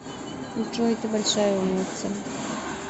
джой ты большая умница